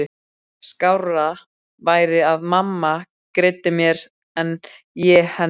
Skárra væri að mamma greiddi mér en ég henni.